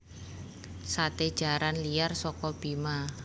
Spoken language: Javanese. Sate jaran liar soko Bima